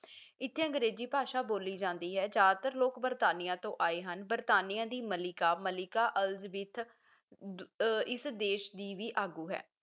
ਇੱਥੇ ਅੰਗਰੇਜ਼ੀ ਭਾਸ਼ਾ ਬੋਲੀ ਜਾਂਦੀ ਹੈ ਜ਼ਿਆਦਾਤਰ ਲੋਕ ਬਰਤਾਨੀਆਂ ਤੋਂ ਆਏ ਹਨ ਬਰਤਾਨੀਆਂ ਦੀ ਮਲਿਕਾ ਮਲਿਕਾ elizabeth ਅਹ ਇਸ ਦੇਸ਼ ਦੀ ਵੀ ਆਗੂ ਹੈ